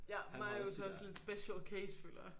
Ja Marius er også lidt special case føler jeg